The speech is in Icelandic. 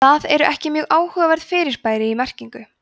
það eru ekki mörg áhugaverð fyrirbæri í merkinu